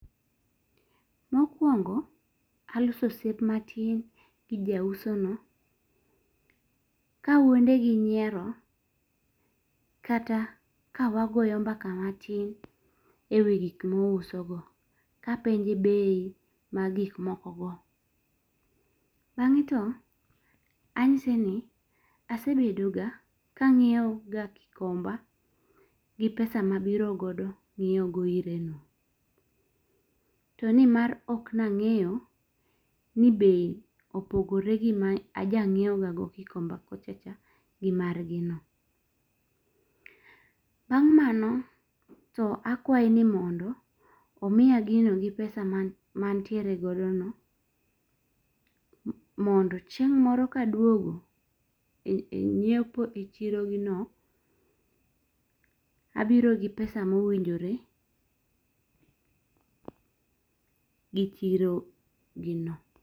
Mokwongo, aloso osiep matin gi ja uso no kawuonde gi nyiero kata kawagoyo mbaka matin e wi gik mouso go kapenje be mag gik moko go. Bang'e to anyise ni asebedo ga kang'iewo ga Gikomba gi pesa mabiro godo ngiewo go ire no. To nimar ok nang'eyo ni bei opogore gi ma ajang'iewo gago Gikomba kocha ch gi margi no. Bang' mano to akwaye ni mondo omiya gino gi pesa ma antiere godono mondo chieng' moro ka aduogo e ng'iepo e chiro gi no abiro biro gimpesa mowinjore gi chiro gi no.